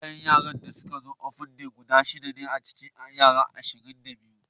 Iyayen da sun zo open day a'aji na guda shida ne daga cikin yara ashirin da biyu.